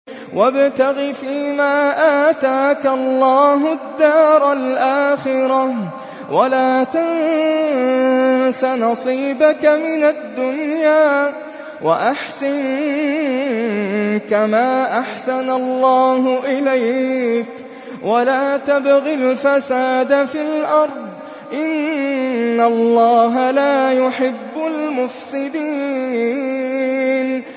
وَابْتَغِ فِيمَا آتَاكَ اللَّهُ الدَّارَ الْآخِرَةَ ۖ وَلَا تَنسَ نَصِيبَكَ مِنَ الدُّنْيَا ۖ وَأَحْسِن كَمَا أَحْسَنَ اللَّهُ إِلَيْكَ ۖ وَلَا تَبْغِ الْفَسَادَ فِي الْأَرْضِ ۖ إِنَّ اللَّهَ لَا يُحِبُّ الْمُفْسِدِينَ